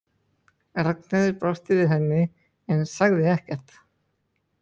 Ragnheiður brosti við henni en sagði ekkert.